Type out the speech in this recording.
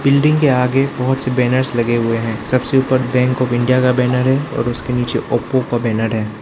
Building के आगे बहुत से बैनर्स लगे हुए हैं सबसे ऊपर बैंक ऑफ़ इंडिया का बैनर है और उसके नीचे ओप्पो का बैनर है।